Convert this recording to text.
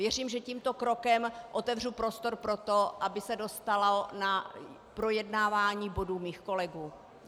Věřím, že tímto krokem otevřu prostor pro to, aby se dostalo na projednávání bodů mých kolegů.